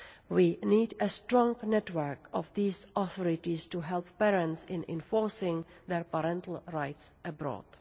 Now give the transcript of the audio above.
We need a strong network of these authorities to help parents in enforcing their parental rights abroad.